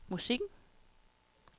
musikken